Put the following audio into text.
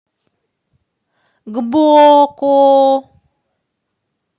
гбоко